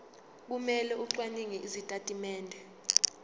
kumele acwaninge izitatimende